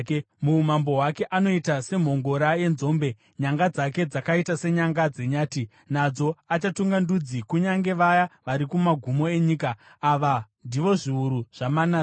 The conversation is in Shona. Muumambo hwake anoita semhongora yenzombe; nyanga dzake dzakaita senyanga dzenyati. Nadzo achatunga ndudzi, kunyange vaya vari kumagumo enyika. Ava ndivo zviuru zvaManase.”